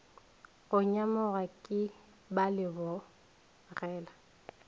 go nyamoga ke ba lebogela